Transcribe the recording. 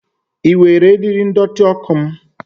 Ị were eriri ndọtị ọkụ m?